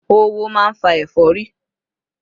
Oówo máa ń fa ẹ̀fọ́rí